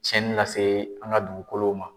Cɛnni lase an ka dugukolow ma.